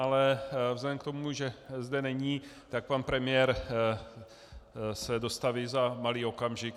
Ale vzhledem k tomu, že zde není, tak pan premiér se dostaví za malý okamžik.